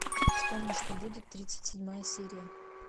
вспомни что будет тридцать седьмая серия